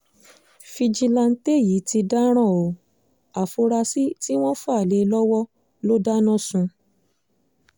fíjìnnàtẹ yìí ti dáràn ọ́ afurasí tí wọ́n fà lé e lọ́wọ́ ló dáná sun